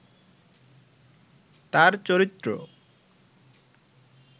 তাঁর চরিত্র